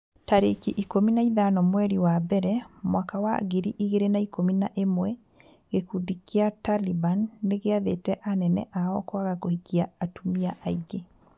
tarĩki ikũmi na ithano mweri wa mbere mwaka wa ngiri igĩrĩ na ikũmi na ĩmwe gĩkundi gĩa Taliban nĩgĩathĩte anene ao kwaga kũhikia atumia aingĩ.